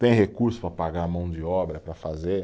Tem recurso para pagar a mão de obra, para fazer?